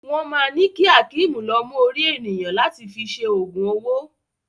Wọ́n ma ni ki Hakeem lọ mú orí ènìyàn láti fi ṣe ogun owó.